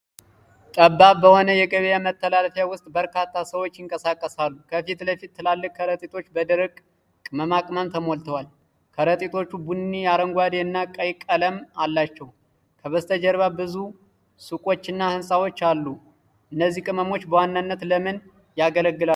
ጠባብ በሆነ የገበያ መተላለፊያ ውስጥ በርካታ ሰዎች ይንቀሳቀሳሉ። ከፊት ለፊት ትላልቅ ከረጢቶች በደረቅ ቅመማ ቅመም ተሞልተዋል። ከረጢቶቹ ቡኒ፣ አረንጓዴ እና ቀይ ቀለም አላቸው። ከበስተጀርባ ብዙ ሱቆች እና ህንጻዎች አሉ። እነዚህ ቅመሞች በዋናነት ለምን ያገለግላሉ?